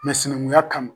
sinankunya kama